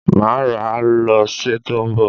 Mà á rà á lọ́ sẹ tó ń bọ̀